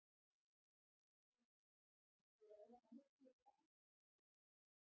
Sindri: Og búið að vera þannig síðustu daga?